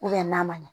n'a ma ɲɛ